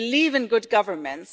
They believe in good governance.